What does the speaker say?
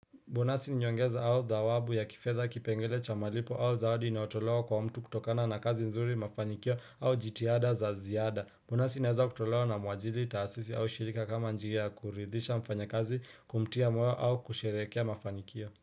Bonasi niongeza au zawabu ya kifeza kipengele cha malipo au zawadi inotoloa kwa mtu kutokana na kazi nzuri mafanikio au jitiada za ziada bonasi inaeza kutolewa na muajili taasisi au shirika kama njia ya kuridhisha mfanya kazi kumtia moyo au kusherekea mafanikio.